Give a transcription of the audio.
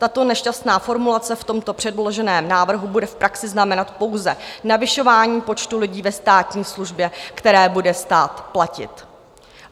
Tato nešťastná formulace v tomto předloženém návrhu bude v praxi znamenat pouze navyšování počtu lidí ve státní službě, které bude stát platit.